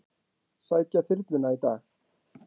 Sækja þyrluna í dag